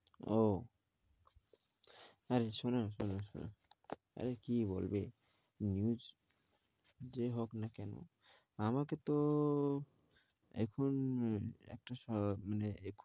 ওঃ, তাহলে শোনো তাহলে শোনো আরে কি বলবে news যে হোক না কেনো? আমাকে তো ও এখন একটা স মানে